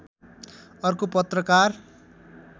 अर्को पत्रकार